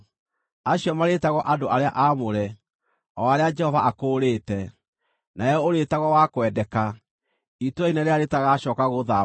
Acio marĩĩtagwo Andũ arĩa Aamũre, o arĩa Jehova Akũũrĩte; nawe ũrĩĩtagwo Wa Kwendeka, Itũũra-Inene-rĩrĩa-Rĩtagacooka-Gũthaamwo.